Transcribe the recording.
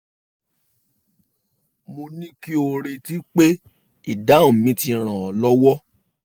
mo ní kí o retí pé ìdáhùn mi ti ràn ọ́ lọ́wọ́